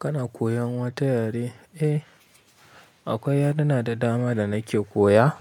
Kana koyan wata yare? Eh, akwai yarena da dama da nake koya.